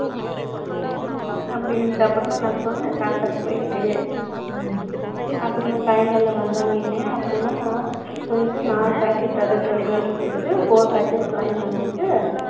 ம்ம். அப்படி இருந்துச்சு. அப்புறமா நான் சொன்னேன், தாத்தாவுக்கு போயிட்டு. ம்ம். அப்புறமா, சாயங்காலம் வந்தாங்க இல்லையா அப்புறமா, போயிட்டு நாலு pocket அதாவது, twelve, twelve rupees க்கு, four packets வாங்கி வந்துச்சு